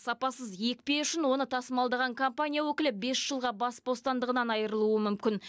сапасыз екпе үшін оны тасымалдаған компания өкілі бес жылға бас бостандығынан айрылуы мүмкін